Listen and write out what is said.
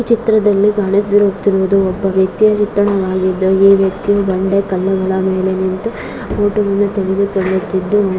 ಈ ಚಿತ್ರದಲ್ಲಿ ಕಾಣಿಸುತ್ತಿರುವುದು ಒಬ್ಬ ವ್ಯಕ್ತಿಯ ಚಿತ್ರಣವಾಗಿದ್ದು ಈ ವ್ಯಕ್ತಿಯು ಬಂದೆ ಕಲ್ಲುಗಳ ಮೇಲೆ ನಿಂತ ಫೋಟೋ ವನ್ನೂ ತೆಗೆಯುತಿದ್ದು--